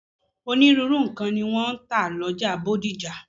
Onírúurú nǹkan ni wọ́n ń tà lọ́jà Bódìjà.